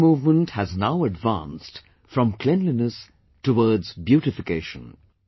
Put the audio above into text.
This movement has now advanced from cleanliness towards beautification